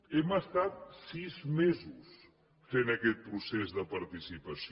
hem estat sis mesos fent aquest procés de participació